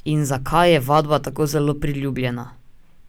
In zakaj je vadba tako zelo priljubljena?